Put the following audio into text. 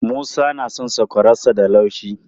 Musa na son sakwararsa da laushi.